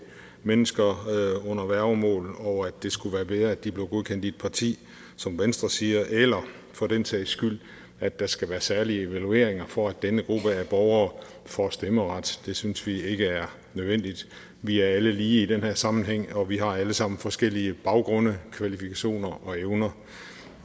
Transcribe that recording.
mennesker under værgemål og sige at det skulle være bedre at de blev godkendt i et parti som venstre siger eller for den sags skyld at der skal være særlige evalueringer for at denne gruppe af borgere får stemmeret det synes vi ikke er nødvendigt vi er alle lige i den her sammenhæng og vi har alle sammen forskellige baggrunde kvalifikationer og evner